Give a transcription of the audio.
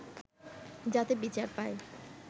যাতে বিচার পায়